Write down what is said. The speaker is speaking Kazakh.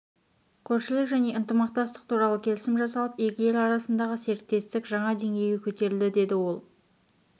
көршілік және ынтымақтастық туралы келісім жасалып екі ел арасындағы серіктестік жаңа деңгейге көтерілді деді ол